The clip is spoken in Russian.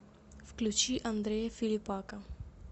включи андрея филиппака